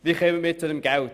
Wie kommen wir zu Geld?